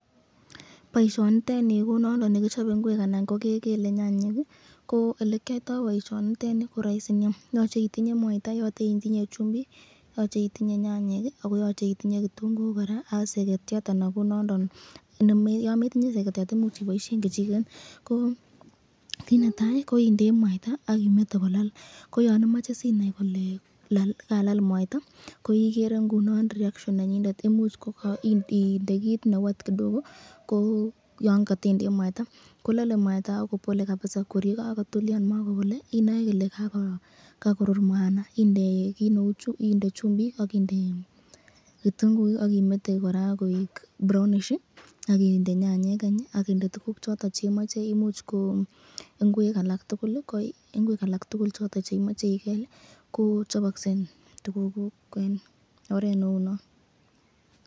Boisyoniteni ko nondon nekichape inguek, anan ko kekele nyanyek, ko elekyoito boisyoniteni koraisi Nia, yoche itinye, mwaita, chumbik, nyanyek, kitunguik, ak seketyat, Yan metinye seketyat imuch iboisyen kechiket, kit netai koindei mwaita akimete kolal tar korur inde chumbik ,akinde kitunguik akimete koek brownish akinde nyanyek any ii akinde tukuk chekemache ichob imuch ko ingwek, ko chabakse tukuk kuk eng oret neunon.